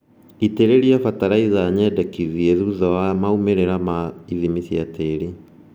Itĩrĩria batalaitha nyendekithie thutha wa maumĩrĩra ma ithimi cia tĩri